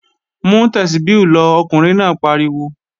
Mú Tẹ́súbí lọ, Ọkùnrin náà pariwo!